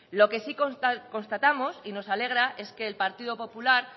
lo que sí constatamos y nos alegra es que el partido popular